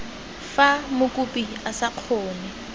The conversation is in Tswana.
fa mokopi a sa kgone